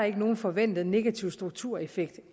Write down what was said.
ikke nogen forventet negativ struktureffekt